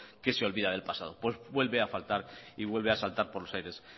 que se olvida del pasado pues vuelve a faltar y vuelve a saltar por los aires